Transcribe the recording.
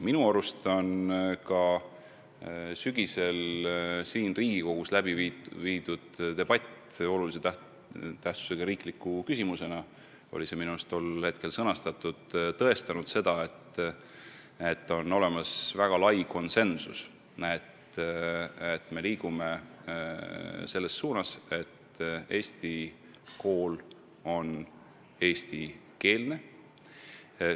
Minu arust tõestas sügisel siin Riigikogus läbi viidud debatt – see oli vist vormistatud olulise tähtsusega riikliku küsimuse aruteluna –, et on olemas väga lai konsensus liikuda selles suunas, et Eesti kool on eestikeelne.